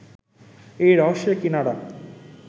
এই রহস্যের কিনারা